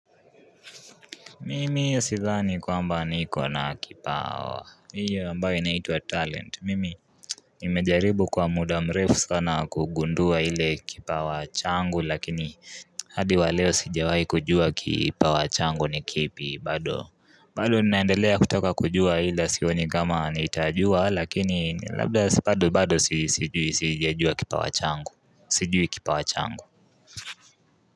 Mimi sidhani kwamba niko na kipawa. Hiyo ambayo inaitwa talent. Mimi Nimejaribu kwa muda mrefu sana kugundua ile kipawa changu lakini hadi wa leo sijawahi kujua kipawa changu ni kipi bado. Bado ninaendelea kutaka kujua ila sioni kama nitajua lakini labda si bado bado sijui sijajua kipawa changu sijui kipawa changu.